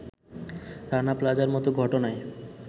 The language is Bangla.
রানা প্লাজার মত ঘটনায়